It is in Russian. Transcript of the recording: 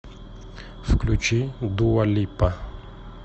включи дуа липа